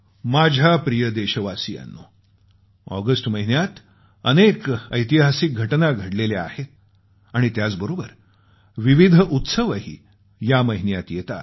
माझ्या प्रिय देशवासियांनो ऑगस्ट महिन्यात अनेक ऐतिहासिक घटना घडलेल्या आहेत आणि त्याचबरोबर विविध उत्सवही या महिन्यात येतात